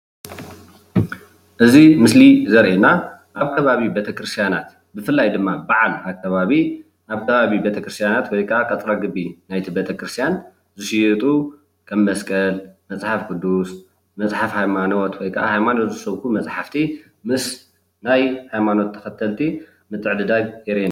እዚ ምስሊ ዘርእየና ኣብ ከባቢ ቤተክርስቲያናት ብፍላይ ድማ በዓል ኣከባቢ ኣብ ከባቢ ቤተክርስቲያን ወይከዓ ቀጥረ ግቢ ናይቲ ቤተክርስቲያን ዝሽየጡ ከም መስቀል ፣መፅሓፍ ቅዱስ፣ መፅሓፍ ሃይማኖት ወይከዓ ሃይማኖት ዝሰብኹ መፅሓፍቲ ምስ ናይ ሃይማኖት ተኸተልቲ ምትዕድዳግ የርእየና።